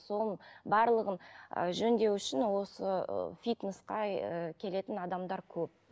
соның барлығын ы жөндеу үшін осы ы фитнеске ы келетін адамдар көп